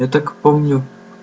и так помню